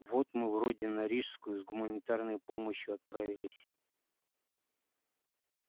вот мы вроде на рижскую с гуманитарной помощью отправились